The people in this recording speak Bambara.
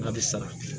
A bɛ sara